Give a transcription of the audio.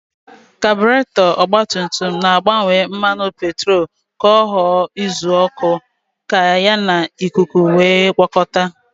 Kaburetọ ọgbatumtum na-agbanwe mmanụ petrolu ka ọ ghọọ uzuọkụ ka ya na ikuku wee gwọkọta.